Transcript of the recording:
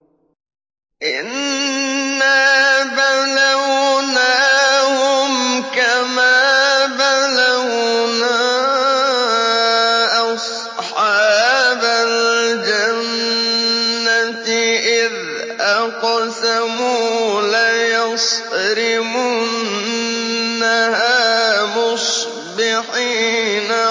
إِنَّا بَلَوْنَاهُمْ كَمَا بَلَوْنَا أَصْحَابَ الْجَنَّةِ إِذْ أَقْسَمُوا لَيَصْرِمُنَّهَا مُصْبِحِينَ